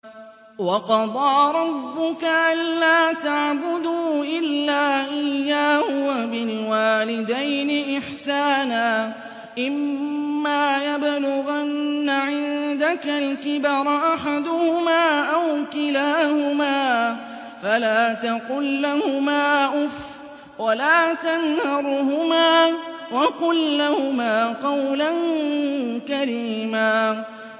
۞ وَقَضَىٰ رَبُّكَ أَلَّا تَعْبُدُوا إِلَّا إِيَّاهُ وَبِالْوَالِدَيْنِ إِحْسَانًا ۚ إِمَّا يَبْلُغَنَّ عِندَكَ الْكِبَرَ أَحَدُهُمَا أَوْ كِلَاهُمَا فَلَا تَقُل لَّهُمَا أُفٍّ وَلَا تَنْهَرْهُمَا وَقُل لَّهُمَا قَوْلًا كَرِيمًا